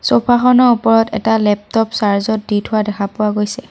Sofa খনৰ ওপৰত এটা লেপটপ চাৰ্জ ত দি থোৱা দেখা পোৱা গৈছে।